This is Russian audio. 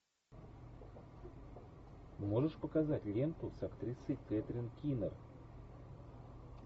можешь показать ленту с актрисой кэтрин кинер